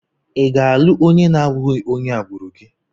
Ị ga-alụ onye na-abụghị onye agbụrụ gị?